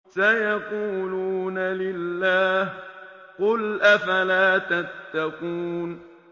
سَيَقُولُونَ لِلَّهِ ۚ قُلْ أَفَلَا تَتَّقُونَ